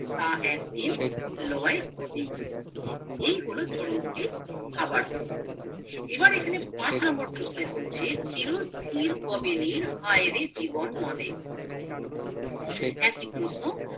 তা একদিন লয় হবেই এই হলো চরণ দুটির ভাবার্থ এবার এখানে পাঁচ নম্বর প্রশ্ন বলছি চিরস্থির কোবানির হায়রে জীবননদে একই প্রশ্ন